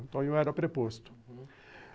Então, eu era preposto, uhum.